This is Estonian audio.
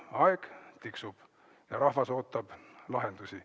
Aeg tiksub ja rahvas ootab lahendusi.